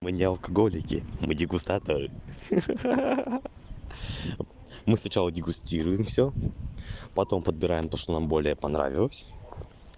мы не алкоголики мы дегустаторы ха-ха мы сначала дегустируем всё потом подбираем то что нам более понравилось